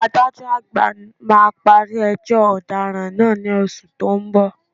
Adájọ́ àgbà máa parí ẹjọ́ ọ̀daràn náà ní oṣù tó ń bọ̀